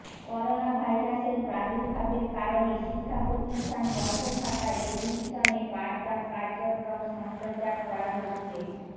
করোনাভাইরাসের প্রাদুর্ভাবের কারণে শিক্ষাপ্রতিষ্ঠান বন্ধ থাকায় টেলিভিশনে পাঠদান কার্যক্রম সম্প্রচার করা হচ্ছে